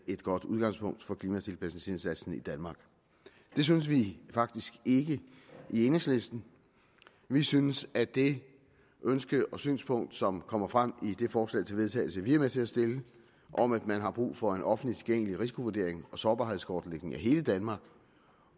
et godt udgangspunkt for klimatilpasningsindsatsen i danmark det synes vi faktisk ikke i enhedslisten vi synes at det ønske og synspunkt som kommer frem i det forslag til vedtagelse vi er med til at stille om at man har brug for en offentlig tilgængelig risikovurdering og sårbarhedskortlægning af hele danmark